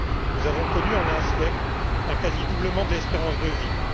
Nous avons connu en un siècle un quasi doublement de l'espérance de vie.